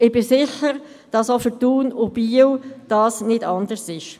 Ich bin sicher, dass dies bei Thun und Biel nicht anders ist.